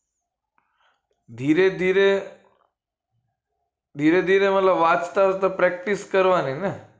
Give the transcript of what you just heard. ધીરે ધીર ધીરે ધીરે વાંચતા વાંચતા practice કરવાન ની ને